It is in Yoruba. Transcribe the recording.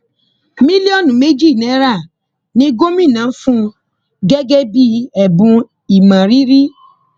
mílíọnù méjì náírà ni gomina fún un gẹgẹ bíi ẹbùn ìmọrírì